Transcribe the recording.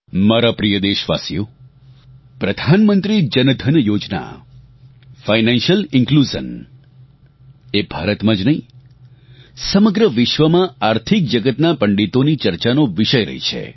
મારા પ્રિય દેશવાસીઓ પ્રધાનમંત્રી જનધન યોજના ફાઇનાન્સિયલ ઇનક્લુઝન એ ભારતમાં જ નહીં સમગ્ર વિશ્વમાં આર્થિક જગતના પંડિતોની ચર્ચાનો વિષય રહી છે